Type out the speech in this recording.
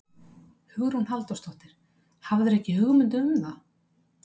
Hugrún Halldórsdóttir: Hafðirðu ekki hugmynd um það?